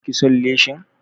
Ba ki son leshin?